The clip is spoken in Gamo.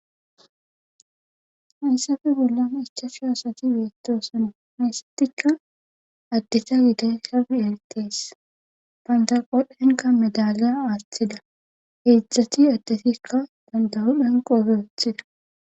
hayssafe bolla ichashu asati beettosina mesatikka addeta gide sab eltees pantaqodhenka medalya aaththida heedzdzati addetikka bandahudhanqoobe woothida